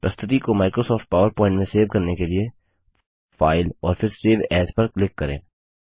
प्रस्तुति को Microsoft PowerPoint में सेव करने के लिए फाइल और फिर सेव एएस पर क्लिक करें